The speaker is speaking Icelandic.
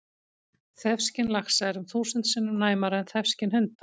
Þefskyn laxa er um þúsund sinnum næmara en þefskyn hunda!